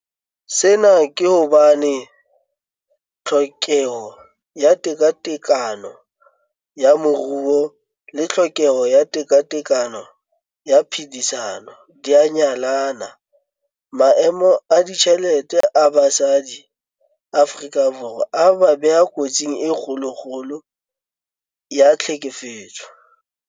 Sena ke hobane tlhokeho ya tekatekano ya moruo le tlhokeho ya tekatekano ya phedisano di a nyallana. Maemo a ditjhelete a basadi Afrika Borwa a ba beha kotsing e kgolokgolo ya tlhekefetso.